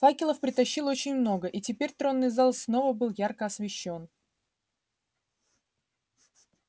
факелов притащили очень много и теперь тронный зал снова был ярко освещён